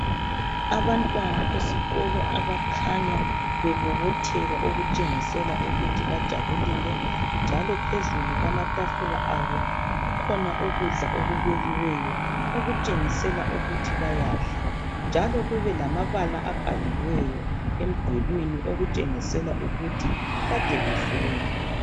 Abantwana besikolo abakhanya bebobotheka okutshengisela ukuthi bajabulile, njalo phezulu kwamatafula abo, kukhona ukudla okubekiweyo okutshengisela ukuthi bayadla, njalo kube lamabala abhaliweyo emdulwini okutshengisela ukuthi kade befunda.